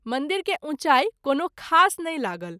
मंदिर के उँचाई कोनो खास नहिं लागल।